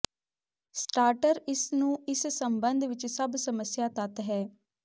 starter ਇਸ ਨੂੰ ਇਸ ਸਬੰਧ ਵਿੱਚ ਸਭ ਸਮੱਸਿਆ ਤੱਤ ਹੈ